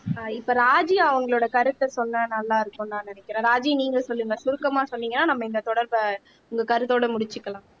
ஆஹ் இப்ப ராஜி அவங்களோட கருத்தை சொன்னா நல்லா இருக்கும்னு நான் நினைக்கிறேன் ராஜி நீங்க சொல்லுங்க சுருக்கமா சொன்னீங்கன்னா நம்ம இந்த தொடர்பை உங்க கருத்தோட முடிச்சுக்கலாம்